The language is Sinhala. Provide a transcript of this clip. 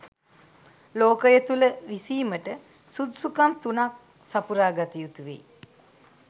ලෝකය තුළ විසීමට සුදුසුකම් තුනක් සපුරාගත යුතුවෙයි.